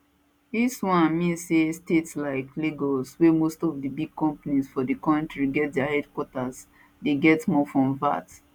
dis one mean say state like lagos wia most of di big companies for di kontri get dia headquarters dey get more from vat